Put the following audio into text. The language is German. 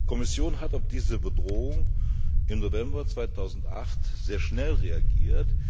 Die Kommission hat auf diese Bedrohung im November 2008 sehr schnell reagiert.